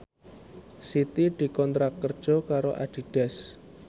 Siti dikontrak kerja karo Adidas